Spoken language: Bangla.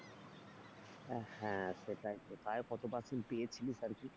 হ্যাঁ সেটাই তো, তাও কত percent পেয়েছিলিস আরকি?